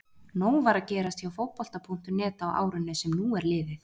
Nóg var að gerast hjá Fótbolta.net á árinu sem nú er liðið.